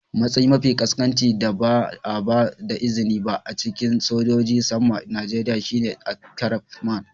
Matsayi mafi ƙasƙanci da ba a ba da izini ba a cikin sojojin saman Najeriya shine aircraftman.